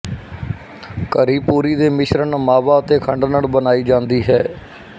ਘਰੀ ਪੂਰੀ ਦੇ ਮਿਸ਼ਰਣ ਮਾਵਾ ਅਤੇ ਖੰਡ ਨਾਲ ਬਣਾਈ ਜਾਂਦੀ ਹੈ